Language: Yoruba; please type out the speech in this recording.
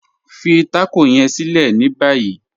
Fí tákọ yẹ̀n sílẹ̀ ní báyì..